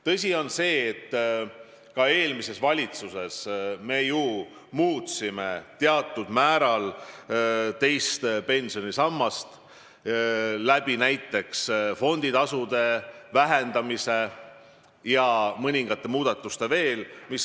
Tõsi on, et ka eelmises valitsuses me muutsime teatud määral teise pensionisamba regulatsiooni, et vähendada fonditasusid ja veel mõningaid muudatusi teha.